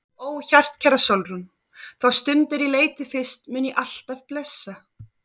Ó hjartkæra Sólrún, þá stund er ég leit þig fyrst mun ég alt af blessa.